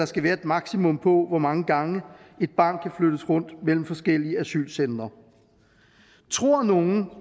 skal være et maksimum på hvor mange gange et barn kan flyttes rundt mellem forskellige asylcentre tror nogen